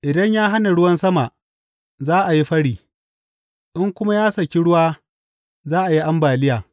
Idan ya hana ruwan sama, za a yi fări; in kuma ya saki ruwa za a yi ambaliya.